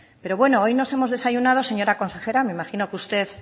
pero bueno hoy nos hemos desayunado señora consejera me imagino que usted